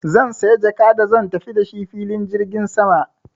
Zan saya jaka da zan tafi da shi filin jirgin sama.